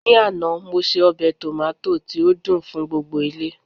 ní àná mo se obe tomota ti o dun dun gbogbo ile